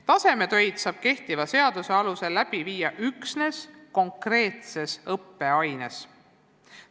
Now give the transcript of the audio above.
Tasemetöid saab kehtiva seaduse alusel viia läbi üksnes konkreetses õppeaines.